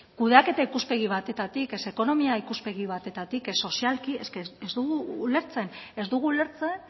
kudeaketa ikuspegi batetik ez ekonomia ikuspegi batetik ez sozialki ez dugu ulertzen ez dugu ulertzen